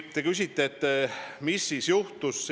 Te küsite, mis siis juhtus.